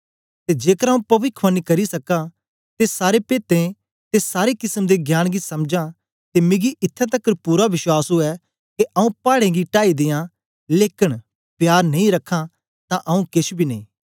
ते जेकर आऊँ पविखवाणी करी सक्कां ते सारे पेदें ते सारे किसम दे ज्ञान गी समझां ते मिगी इत्थैं तकर पूरा विश्वास उवै के आऊँ पाड़ें गी टाई दियां लेकन प्यार नेई रखां तां आऊँ केछ बी नेई